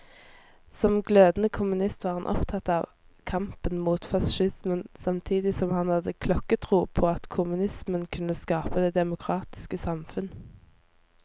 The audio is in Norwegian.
Som glødende kommunist var han opptatt av kampen mot facismen, samtidig som han hadde klokketro på at kommunismen kunne skape det demokratiske samfunn.